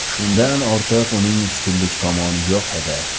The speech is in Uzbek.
Shundan ortiq uning ustunlik tomoni yo‘q edi.